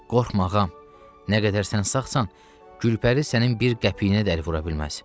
Qorxma ağam, nə qədər sən sağsan, Gülpəri sənin bir qəpiyinə dəyər vura bilməz.